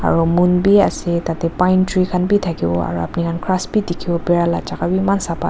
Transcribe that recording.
aro moon bi asae tadae pine tree khan bi takibo aro apuni khan grass bi dikibo bera laka chaka bi eman sapa asae.